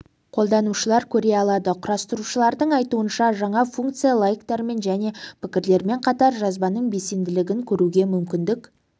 қолданушылар көре алады құрастырушылардың айтуынша жаңа функция лайктармен және пікірлермен қатар жазбаның белсенділігін көруге мүмкіндік